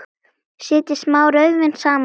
Setjið smá rauðvín saman við.